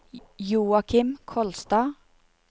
Joakim Kolstad